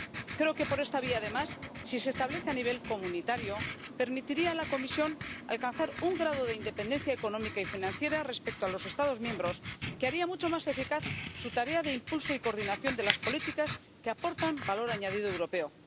Creo que esta vía, además, si se establece a nivel comunitario, permitiría a la Comisión alcanzar un grado de independencia económica y financiera respecto a los Estados miembros que haría mucho más eficaz su tarea de impulso y coordinación de las políticas que aportan valor añadido europeo.